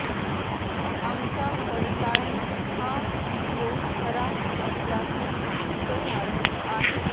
आमच्या पडताळणीत हा व्हीडिओ खरा असल्याचं सिद्ध झालं आहे